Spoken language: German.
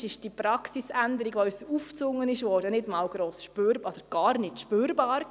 In der Statistik ist diese Praxisänderung, die uns aufgezwungen worden ist, nicht spürbar.